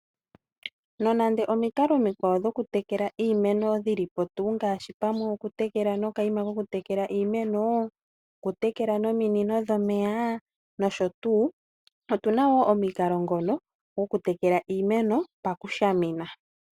Nonando omikalo dhimwe dhoku tekela iimeno dhilipo tuu ngaashi ngaashi pamwe oku tekela nokayima koku tekela iimeno . Oku tekela nominino dhomeya nosho tuu . Opuna woo omukalo ngono goku tekela iimeno paku shamina.